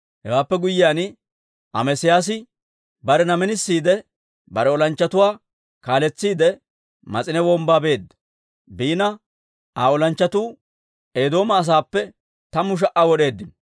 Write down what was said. Hewaappe guyyiyaan, Amesiyaasi barena minisiide, bare olanchchatuwaa kaaletsiide, Mas'ine Wombbaa beedda; Aa olanchchatuu Eedooma asaappe tammu sha"aa wod'eeddino.